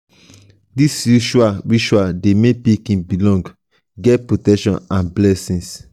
these rituals rituals de make pikin belong get protection and blessings